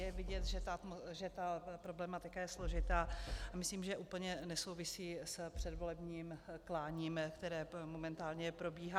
Je vidět, že ta problematika je složitá, a myslím, že úplně nesouvisí s předvolebním kláním, které momentálně probíhá.